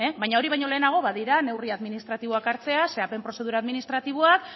baina hori baino lehenago badira neurri administratiboak hartzea zehapen prozedura administratiboak